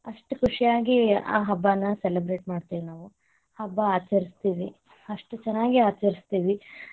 ಅಷ್ಟ್ ಖುಷಿಯಾಗಿ ಆ ಹಬ್ಬನ celebrate ಮಾಡತೇವಿ ನಾವು. ಹಬ್ಬ ಆಚರಿಸ್ತೀವಿ ಅಷ್ಟು ಚನ್ನಾಗಿ ಆಚರಿಸ್ತೀವಿ.